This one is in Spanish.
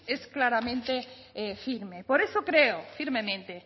es claramente firme por eso creo firmemente